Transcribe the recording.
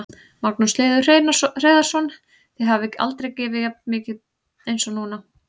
Magnús Hlynur Hreiðarsson: Þið hafið aldrei gefið jafn mikið eins og núna?